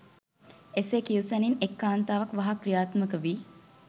එසේ කියූ සැණින් එක් කාන්තාවක් වහා ක්‍රියාත්මක වී